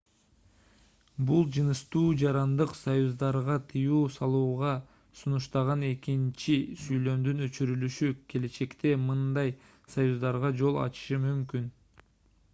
бир жыныстуу жарандык союздарга тыюу салууна сунуштаган экинчи сүйлөмдүн өчүрүлүшү келечекте мындай союздарга жол ачышы мүмкүн